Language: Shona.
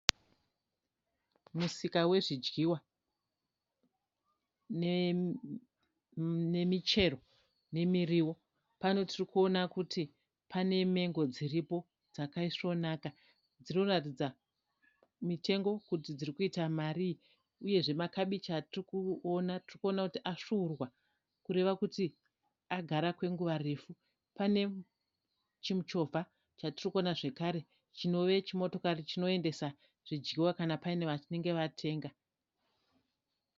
Musika wezvidyiwa nemichero nemiriwo. Pano tiri kuona kuti pane mengo dziripo dzakaisvonaka. Dziri kuratidza mitengo kuti dziri kuita marii. Uyezve makibichi atiri kuona tiri kuona kuti asvuurwa kureva kuti agara kwenguva refu. Pane chimuchovha chatiri kuona zvakare chinove chimotokari chinoendesa zvidyiwa kana paine vanenge vatenga.